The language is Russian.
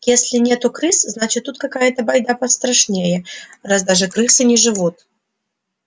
если нету крыс значит тут какая-то байда пострашнее раз даже крысы не живут